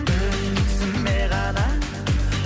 өзіме ғана